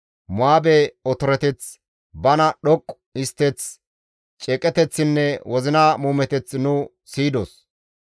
Mo7aabe otoreteth, bana dhoqqu histteth, ceeqeteththinne wozina muumeteth nu siyidos.